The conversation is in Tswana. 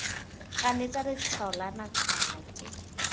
ganetsana letshwao la nakwana ke